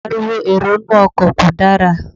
Ariwo èrò inú ọkọ̀ kò dára.